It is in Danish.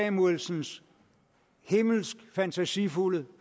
samuelsens himmelsk fantasifulde